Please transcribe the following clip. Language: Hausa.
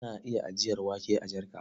Ana iya ajiyar wake a jarka.